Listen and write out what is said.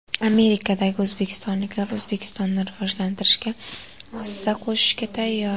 Amerikadagi o‘zbekistonliklar O‘zbekistonni rivojlantirishga hissa qo‘shishga tayyor .